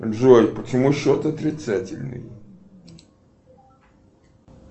джой почему счет отрицательный